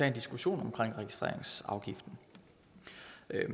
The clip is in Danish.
en diskussion om registreringsafgiften